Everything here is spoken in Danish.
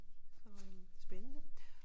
Og øh spændende